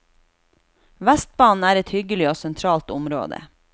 Vestbanen er et hyggelig og sentralt område.